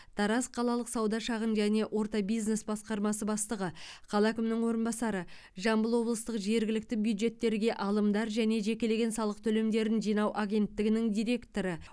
тараз қалалық сауда шағын және орта бизнес басқармасы бастығы қала әкімінің орынбасары жамбыл облыстық жергілікті бюджеттерге алымдар және жекелеген салық төлемдерін жинау агенттігінің директоры